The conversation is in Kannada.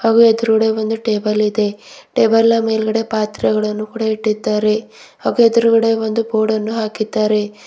ಹಾಗು ಎದುರುಗಡೆ ಒಂದು ಟೇಬಲ್ ಇದೆ ಟೇಬಲ ನ ಮೇಲೆ ಪಾತ್ರೆಗಳನ್ನೂ ಕೂಡಾ ಇಟ್ಟಿದ್ದಾರೆ ಹಾಗು ಎದುರುಗಡೆ ಒಂದು ಬೋರ್ಡನ್ನು ಹಾಕಿದ್ದಾರೆ.